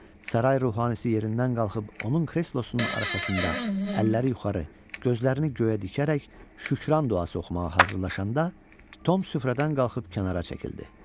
Saray ruhanisi yerindən qalxıb onun kreslosunun arxasında əlləri yuxarı, gözlərini göyə dikərək şükran duası oxumağa hazırlaşanda, Tom süfrədən qalxıb kənara çəkildi.